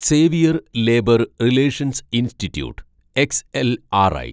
Xavier labour relations institute XLRI